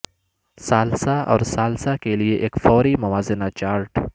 ثالثی اور ثالثی کے لئے ایک فوری موازنہ چارٹ